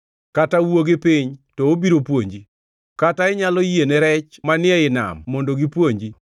kata wuo gi piny, to obiro puonji, kata inyalo yiene rech manie i nam mondo gipuonji.